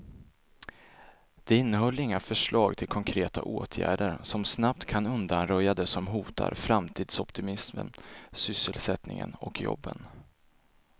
Det innehöll inga förslag till konkreta åtgärder som snabbt kan undanröja det som hotar framtidsoptimismen, sysselsättningen och jobben.